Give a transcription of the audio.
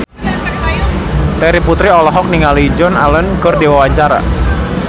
Terry Putri olohok ningali Joan Allen keur diwawancara